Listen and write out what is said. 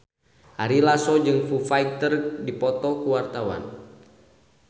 Ari Lasso jeung Foo Fighter keur dipoto ku wartawan